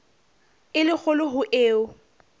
e le kgolo ho eo